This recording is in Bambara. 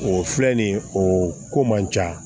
O filɛ nin ye o ko man ca